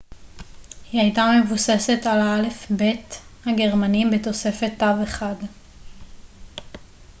היא הייתה מבוססת על האלף-בית הגרמני בתוספת תו אחד õ / õ